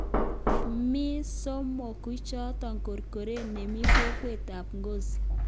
Mi somokuichoto korkoret nemi kokwet ab Ngozi